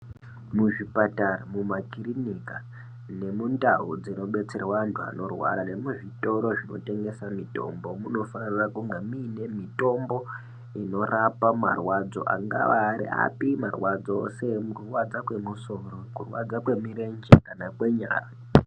Muzvipatara mumakirinika nemundau dzinobetserwe antu anorwara nemuzvitoro zvinotengese mitombo munofanira kunge muine mitombo inorapa marwadzo angava ari api marwadzo seekurwadza kwemusoro ,kurwadza kwemirenje kana kwenyara .